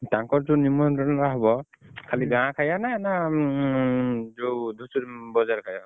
ତାଙ୍କର ଯୋଉ ନିମନ୍ତ୍ରଣ ଟା ହବ ଖାଲି ଗାଁ ଖଇଆ ନାଁ ଯୋଉ ଧୂସୁରୀ ବଜାର ଖାଇଆ?